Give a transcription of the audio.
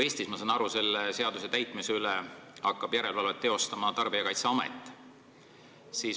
Ma saan aru, et selle seaduse täitmise üle hakkab Eestis järelevalvet tegema Tarbijakaitseamet.